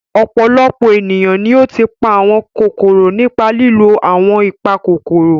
Ọ̀pọ̀lọpọ̀ ènìyàn ni ó ti pa àwọn kòkòrò nípa ìlò àwọn ìpakòkòrò.